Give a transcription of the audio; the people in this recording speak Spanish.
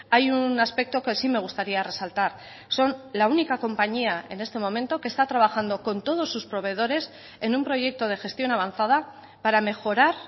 hay un aspecto que sí me gustaría resaltar son la única compañía en este momento que está trabajando con todos sus proveedores en un proyecto de gestión avanzada para mejorar